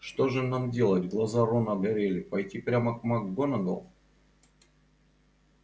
что же нам делать глаза рона горели пойти прямо к макгонагалл